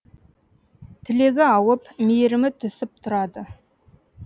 тілегі ауып мейірімі тұсіп тұрады